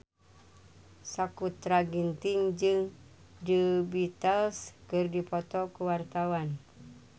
Sakutra Ginting jeung The Beatles keur dipoto ku wartawan